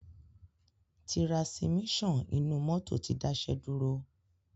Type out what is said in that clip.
Tirasimíṣan inú mọ́tò ti dáṣẹ́ dúró.